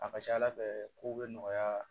A ka ca ala fɛ kow bɛ nɔgɔya